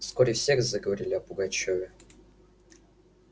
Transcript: вскоре все заговорили о пугачёве